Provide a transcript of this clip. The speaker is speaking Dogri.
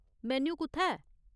मेन्यू कु'त्थै ऐ ?